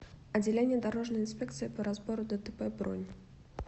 отделение дорожной инспекции по разбору дтп бронь